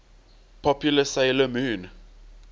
popular 'sailor moon